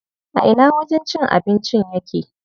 A ina wajen cin abincin yake?